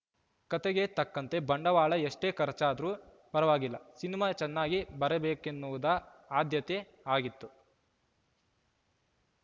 ಕತೆಗೆ ತಕ್ಕಂತೆ ಬಂಡವಾಳ ಎಷ್ಟೇ ಖರ್ಚಾದ್ರು ಪರವಾಗಿಲ್ಲ ಸಿನಿಮಾ ಚೆನ್ನಾಗಿ ಬರಬೇಕೆನ್ನುವುದ ಆದ್ಯತೆ ಆಗಿತ್ತು